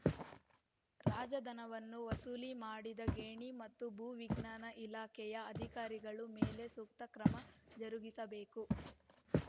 ರಾಜಧನವನ್ನು ವಸೂಲಿ ಮಾಡದ ಗಣಿ ಮತ್ತು ಭೂ ವಿಜ್ಞಾನ ಇಲಾಖೆಯ ಅಧಿಕಾರಿಗಳ ಮೇಲೆ ಸೂಕ್ತ ಕ್ರಮ ಜರುಗಿಸಬೇಕು